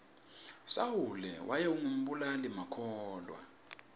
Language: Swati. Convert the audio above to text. sawule wayengu mbulali makhulwa